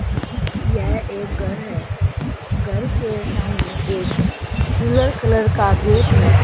यह एक घर है घर के सामने एक सिल्वर कलर का गेट है।